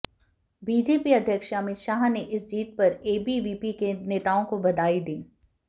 BJP अध्यक्ष अमित शाह ने इस जीत पर एबीवीपी के नेताओं को बधाई दी है